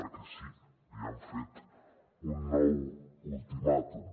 perquè sí li han fet un nou ultimàtum